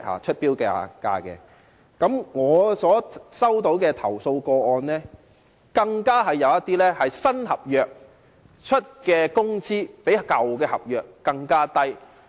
在我接獲的投訴個案中，更有一些是新合約提供的工資較舊合約更低。